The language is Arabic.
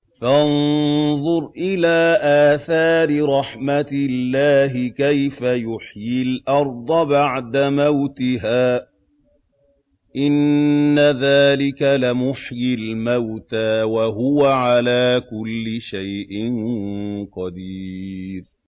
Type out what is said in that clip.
فَانظُرْ إِلَىٰ آثَارِ رَحْمَتِ اللَّهِ كَيْفَ يُحْيِي الْأَرْضَ بَعْدَ مَوْتِهَا ۚ إِنَّ ذَٰلِكَ لَمُحْيِي الْمَوْتَىٰ ۖ وَهُوَ عَلَىٰ كُلِّ شَيْءٍ قَدِيرٌ